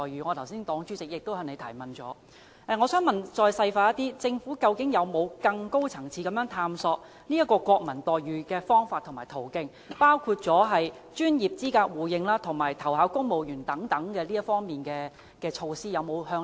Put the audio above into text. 我的黨主席剛才曾就此提問，我想再細問，政府究竟有否在更高層次探索爭取國民待遇的方法和途徑，包括專業資格互認及投考公務員等方面的措施？